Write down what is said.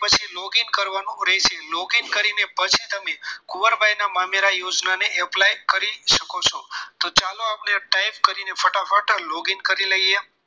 Loging કરવાનું રહેશે logging કરીને પછી તમે કુંવરબાઈ ના મામેરા યોજનાને apply કરી શકો છો તો ચાલો આપણે type કરીને ફટાફટ logging કરી લઈએ